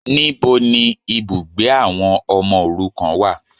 Níbo ni ibùgbé àwọn ọmọ òrukàn wà